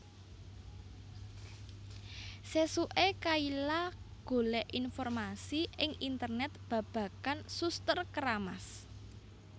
Sesuke Kayla golek informasi ing Internet babagan Suster Keramas